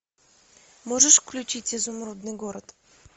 можешь включить изумрудный город